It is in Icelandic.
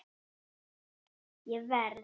Ég verð!